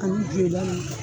Ani Joyila nunnu